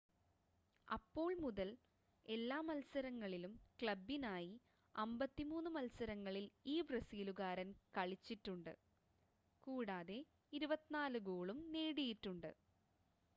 അപ്പോൾ മുതൽ എല്ലാ മത്സരങ്ങളിലും ക്ലബ്ബിനായി 53 മത്സരങ്ങളിൽ ഈ ബ്രസീലുകാരൻ കളിച്ചിട്ടുണ്ട് കൂടാതെ 24 ഗോളും നേടിയിട്ടുണ്ട്